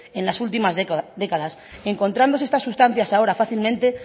en las últimas décadas encontrándose estas sustancias ahora fácilmente